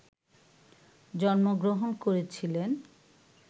জন্মগ্রহণ করেছিলেন